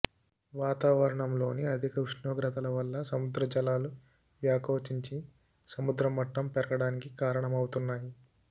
వాతావరణంలోని అధిక ఉష్ణోగ్రతల వల్ల సముద్ర జలాలు వ్యాకోచించి సముద్ర మట్టం పెరగడానికి కారణమవుతున్నాయి